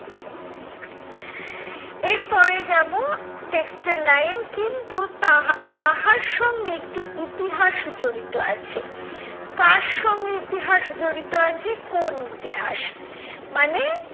এরপরে যাবো text এর line কিন্তু তাহা তাহার সঙ্গে একটু ইতিহাস জড়িত আছে। কার সঙ্গে ইতিহাস জড়িত আছে কোন ইতিহাস? মানে